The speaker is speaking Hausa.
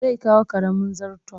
Zai kawo ƙaramin zarton